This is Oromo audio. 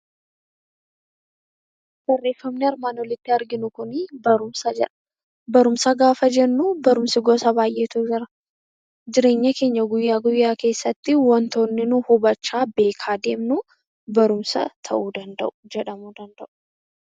Barreeffamni armaan oliitti arginu kun barumsa jedha. Barumsa gaafa jennu barumsa gosa baay'eetu jira. Jireenya keenya guyyaa guyyaa keessatti wantoonni nuti hubachaa, beekaa deemnuu barumsa jedhamuu danda'u.